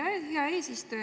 Hea eesistuja!